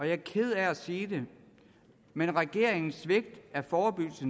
jeg er ked af at sige det men regeringens svigt af forebyggelse